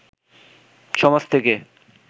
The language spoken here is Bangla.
সমাজ থেকে